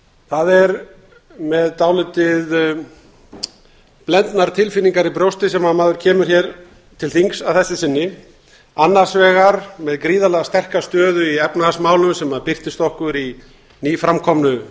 það er með dálítið blendnar tilfinningar í brjósti sem maður kemur hér til þings að þessu sinni annars vegar með gríðarlega sterka stöðu í efnahagsmálum sem birtist okkur í nýframkomnu